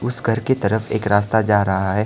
इस घर की तरफ एक रास्ता जा रहा है।